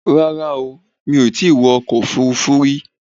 Rárá o, mi ò tí ì wọ ọkọ̀ Òfurufú rí